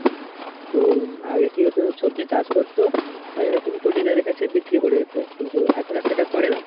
তো আগে কি হতো সবজি চাষ করতো আর এরকম চটিদারের কাছে বিক্রি করে দিতো কিন্তু এখন আর সেটা করে না.